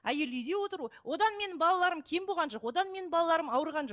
әйел үйде отыру одан менің балаларым кем болған жоқ одан менің балаларым ауырған жоқ